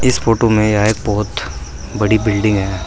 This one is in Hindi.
इस फोटो में यह एक बहोत बड़ी बिल्डिंग है।